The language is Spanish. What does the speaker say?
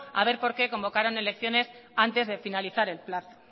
a ver por qué convocaron elecciones antes de finalizar el plazo